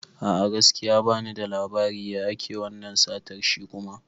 A'a, gaskiya bani da labari, ya ake wannan satar shi kuma?